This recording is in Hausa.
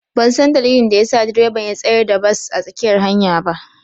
Ban san dalilin da ya sa direban ya tsayar da bas a tsakiyar hanyar ba.